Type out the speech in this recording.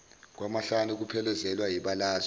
kwamahlanu kuphelezelwe yibalazwe